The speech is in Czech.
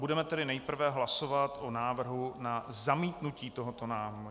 Budeme tedy nejprve hlasovat o návrhu na zamítnutí tohoto návrhu.